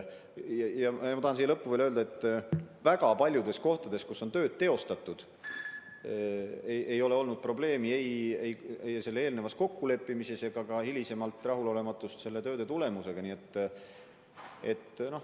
Ja ma tahan siia lõppu veel öelda, et väga paljudes kohtades, kus on töid teostatud, ei ole olnud probleemi ei tööde eelnevas kokkuleppimises ega ka hiljem rahulolematust tööde tulemusega.